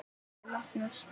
spurði Magnús.